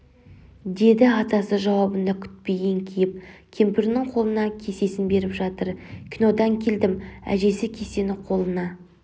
деді атасы жауабын да күтпей еңкейіп кемпірінің қолына кесесін беріп жатыр кинодан келдім әжесі кесені қолына